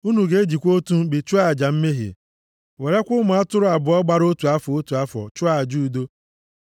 Unu ga-ejikwa otu mkpi chụọ aja mmehie. Werekwa ụmụ atụrụ abụọ gbara otu afọ, otu afọ, chụọ aja udo.